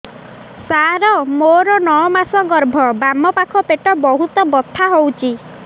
ସାର ମୋର ନଅ ମାସ ଗର୍ଭ ବାମପାଖ ପେଟ ବହୁତ ବଥା ହଉଚି